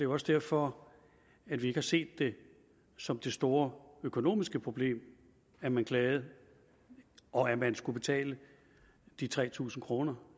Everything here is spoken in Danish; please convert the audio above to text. også derfor at vi ikke ser det som det store økonomiske problem at man klager og at man skal betale tre tusind kroner